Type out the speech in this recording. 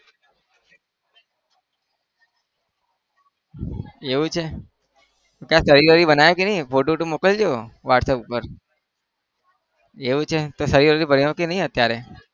એવું છે તે શરીર-વરીર બનાવ્યું કે નહિ ફોટો-વોટો મોકલજે whatsapp ઉપર એવું છે તો શરીર-વરીર બન્યું કે નહિ અત્યારે